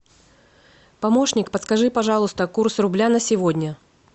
помощник подскажи пожалуйста курс рубля на сегодня